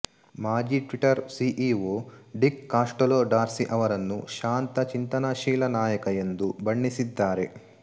ಮಾಜಿ Twitter CEO Dick Costolo Dorsey ಅವರನ್ನು ಶಾಂತ ಚಿಂತನಶೀಲ ನಾಯಕ ಎಂದು ಬಣ್ಣಿಸಿದ್ದಾರೆ